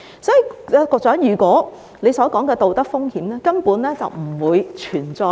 所以，局長所提到的道德風險根本不會存在。